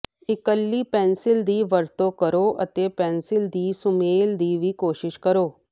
ਇਕਲੀ pencil ਦੀ ਵਰਤੋਂ ਕਰੋ ਅਤੇ ਪੈਨਸਿਲ ਦੇ ਸੁਮੇਲ ਦੀ ਵੀ ਕੋਸ਼ਿਸ਼ ਕਰੋ